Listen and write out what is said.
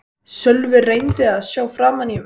Sölvi reyndi að sjá framan í mig.